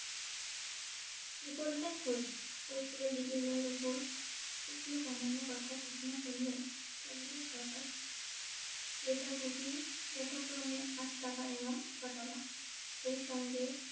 বিকল্পের খোঁজ পেট্রল ডিজেলের উপর শুক্ল কমানোর কথা ঘোষণা করলেও কেন্দ্রীয় সরকার লিটার প্রতি যথাক্রমে আট টাকা এবং ছয় টাকা সেই সঙ্গে